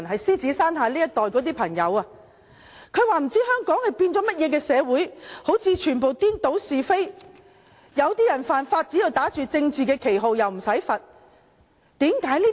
他們說不知道香港變成怎麼樣的社會，好像完全顛倒是非，一些人只要打着政治的旗號犯法，便無須受罰。